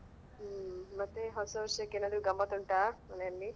ಹ್ಮ್ ಮತ್ತೆ ಹೊಸ ವರ್ಷಕ್ಕೆ ಗಮ್ಮತ್ ಉಂಟಾ ಮನೆಯಲ್ಲಿ.